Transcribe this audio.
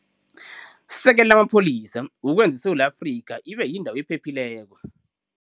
Sekela amapholisa ukwenza iSewula Afrika Ibe Yyndawo ephephileko.